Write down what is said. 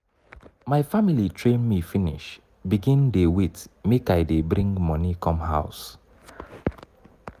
my family train me finish begin dey wait make i dey bring moni come house.